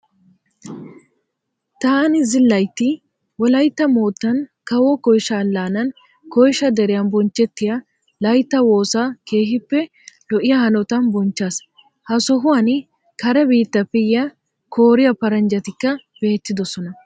Taani zilayitti wolaitta moottan kawo koyisha allaanan koyisha deriyan bonchchettiya layittaa woosaa keehippe lo'iya hanotan bonichchaas. Ha sohuwan kare biittaappe yiya kooriya paranjjatikka beettidosona.